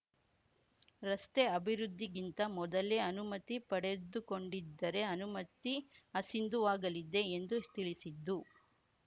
ರಸ್ತೆ ಅಭಿವೃದ್ಧಿಗಿಂತ ಮೊದಲೇ ಅನುಮತಿ ಪಡೆದುಕೊಂಡಿದ್ದರೆ ಅನುಮತಿ ಅಸಿಂಧುವಾಗಲಿದೆ ಎಂದು ತಿಳಿಸಿದ್ದು